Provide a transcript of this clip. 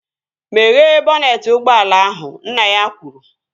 Meghee bọnetị ụgbọala ahụ! Nna ya kwuru